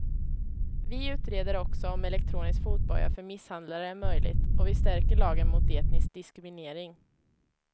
Vi utreder också om elektronisk fotboja för misshandlare är möjligt och vi stärker lagen mot etnisk diskriminering.